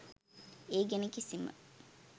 ඒ ගැන කිසිම